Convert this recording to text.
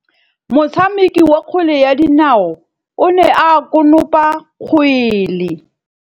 Motshameki wa kgwele ya dinaô o ne a konopa kgwele.